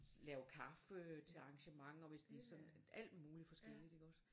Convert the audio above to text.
Lave kaffe til arrangementer hvis det sådan alt muligt forskelligt ikke også